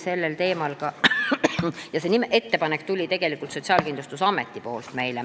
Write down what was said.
See ettepanek tuli meile tegelikult Sotsiaalkindlustusametilt.